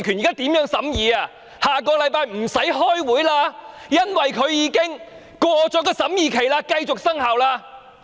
小組委員會下星期已不用再開會，因為已過了審議期，該規例繼續生效。